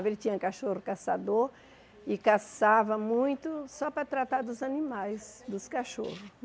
Ele tinha cachorro caçador e caçava muito só para tratar dos animais, dos cachorros.